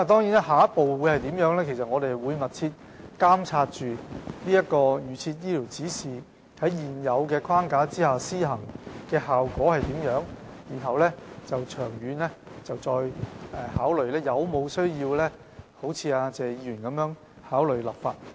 至於下一步應如何處理，我們會密切監察預設醫療指示在現有框架下的施行效果，看看長遠是否有需要如謝議員所說般考慮立法。